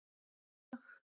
Þessi lög?